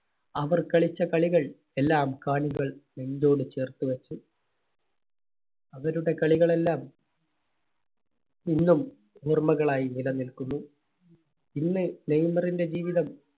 അവർ കളിച്ച കളികൾ എല്ലാം കാണികൾ നെഞ്ചോട് ചേർത്ത് വെച്ചു. അവരുടെ കളികളെല്ലാം ഇന്നും ഓർമ്മകൾ ആയി നിലനിൽക്കുന്നു. ഇന്ന് നെയ്മറിന്റെ ജീവിതം